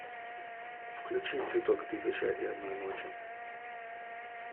включи цветок тысяча и одной ночи